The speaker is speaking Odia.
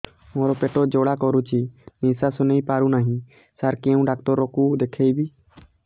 ମୋର ପେଟ ଜ୍ୱାଳା କରୁଛି ନିଶ୍ୱାସ ନେଇ ପାରୁନାହିଁ ସାର କେଉଁ ଡକ୍ଟର କୁ ଦେଖାଇବି